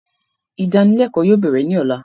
Idanilẹkọ yóò bẹ̀rẹ̀ ni ọ̀la